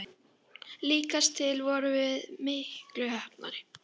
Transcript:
Líkast til vorum við miklu heppnari.